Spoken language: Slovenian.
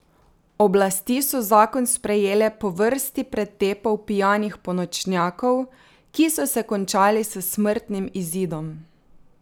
Oblasti so zakon sprejele po vrsti pretepov pijanih ponočnjakov, ki so se končali s smrtnim izidom.